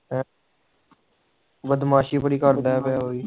ਬਦਮਾਸ਼ੀ ਪੂਰੀ ਕਰਦਾ ਪਿਆ ਉਹ ਵੀ